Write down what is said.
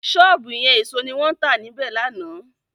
Sọ́ọ̀bù yẹn èso ni wọ́n tà níbẹ̀ lánàá.